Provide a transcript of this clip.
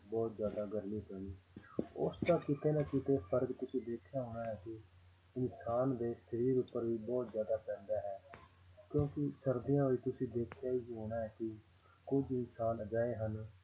ਬਹੁਤ ਜ਼ਿਆਦਾ ਗਰਮੀ ਪੈਣੀ ਉਸਦਾ ਕਿਤੇ ਨਾ ਕਿਤੇ ਫ਼ਰਕ ਤੁਸੀਂ ਦੇਖਿਆ ਹੋਣਾ ਹੈ ਕਿ ਇਨਸਾਨ ਦੇ ਸਰੀਰ ਉੱਪਰ ਵੀ ਬਹੁਤ ਜ਼ਿਆਦਾ ਪੈਂਦਾ ਹੈ ਕਿਉਂਕਿ ਸਰਦੀਆਂ ਵਿੱਚ ਤੁਸੀਂ ਦੇਖਿਆ ਹੀ ਹੋਣਾ ਹੈ ਕਿ ਕੁੱਝ ਇਨਸਾਨ ਅਜਿਹੇ ਹਨ